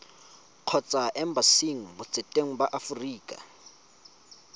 kgotsa embasing botseteng ba aforika